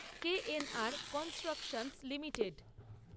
KNR constructions limited